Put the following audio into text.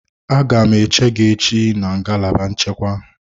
Aga m eche gị echi na ngalaba nchekwa.